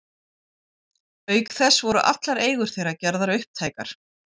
Auk þess voru allar eigur þeirra gerðar upptækar.